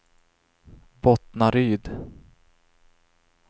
Bottnaryd